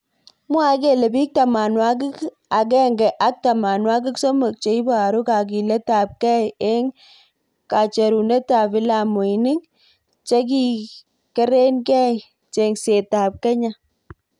mwae kele bik tamwanwakik akemge ak tamanwakik somok cheiboru kakilet ab kei eng kacherunet ab vilamuinik chekikereineng chengset ab kenya.